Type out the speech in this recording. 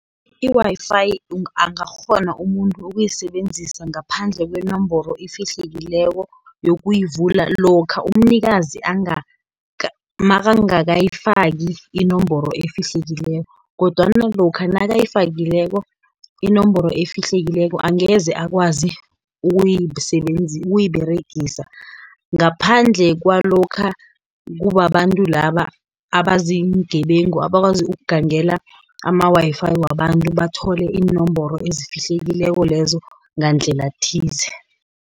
I-Wi_Fi, angakghona umuntu ukuyisebenzisa ngaphandle kwenomboro efihlekileko yokuyivula, lokha umnikazi nakangakayifaki inomboro efihlekileko, kodwana lokha nayifakileko inomboro efihlekileko, angeze akwazi ukuyiberegisa. Ngaphandle kwalokha kubabantu laba, abaziingebengu, abakwazi ukugangela ama-Wi_Fi wabantu, bathole iinomboro ezifihlekileko lezo ngandlela thize.